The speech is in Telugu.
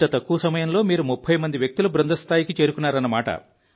ఇంత తక్కువ సమయంలో మీరు 30 మంది వ్యక్తుల బృంద స్థాయికి చేరుకున్నారు